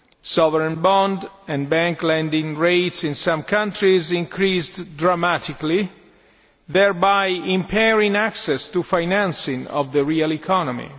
Sovereign bond and bank lending rates in some countries increased dramatically, thereby impairing access to financing of the real economy.